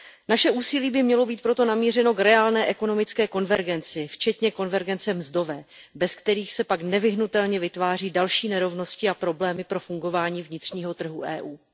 Naše úsilí by mělo být proto namířeno k reálné ekonomické konvergenci, včetně konvergence mzdové, bez které se pak nevyhnutelně vytváří další nerovnosti a problémy pro fungování vnitřního trhu EU.